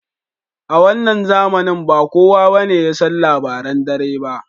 A wannan zamanin ba kuwa ne yasan labaran dare ba.